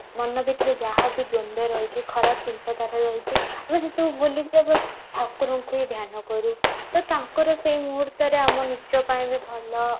ମନ ଭିତରେ ଯାହା ବି ଦ୍ୱନ୍ଦ୍ୱ ରହିଛି ଖରାପ ଚିନ୍ତା ଧାରା ରହିଛି ଆମେ ସେ ସବୁ ଭୁଲି ଯିବା ପାଇଁ ଠାକୁରଙ୍କୁ ହିଁ ଧ୍ୟାନ କରୁ ତ ତାଙ୍କର ସେ ମୁହୂର୍ତ୍ତରେ ଆମ ନିଜ ପାଇଁ ବି ଭଲ